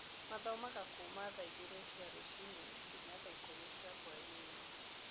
Mathomaga kuuma thaa igĩrĩ cia rũcinĩ nginya thaa ikũmi cia hwaĩ-inĩ.